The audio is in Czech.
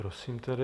Prosím tedy.